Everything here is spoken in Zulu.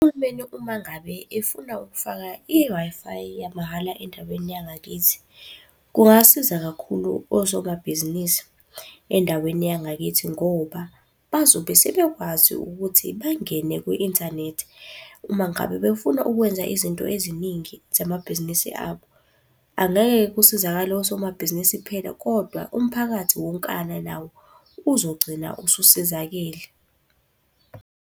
Uhulumeni uma ngabe efuna ukufaka i-Wi-Fi yamahhala endaweni yangakithi. Kungasiza kakhulu osomabhizinisi endaweni yangakithi ngoba bazobe sebekwazi ukuthi bangene kwi-inthanethi, uma ngabe befuna ukwenza izinto eziningi zamabhizinisi abo. Angeke-ke kusizakale osomabhizinisi kuphela kodwa umphakathi wonkana nawo uzogcina ususizakele.